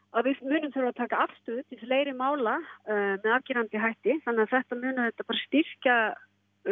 að við munum þurfa að taka afstöðu til fleiri mála með afgerandi hætti þannig að þetta mun auðvitað styrkja